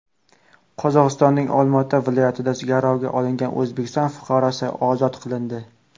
Qozog‘istonning Olmaota viloyatida garovga olingan O‘zbekiston fuqarosi ozod qilindi.